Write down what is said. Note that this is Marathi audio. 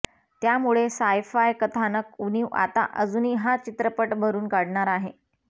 त्यामुळे सायफाय कथानक उणीव आता अजूनी हा चित्रपट भरून काढणार आहे